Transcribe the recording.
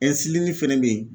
fɛnɛ bɛ yen